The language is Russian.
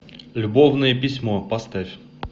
любовное письмо поставь